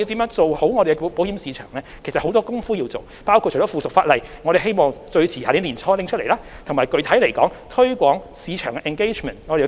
就此，我們其實還有很多工夫要做，包括制定附屬法例——我們希望最遲在明年年初能夠完成——以及具體而言，我們會繼續推廣市場的 engagement。